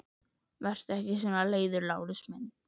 Vertu ekki svona leiður, Lárus minn!